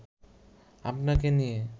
আপনাকে নিয়ে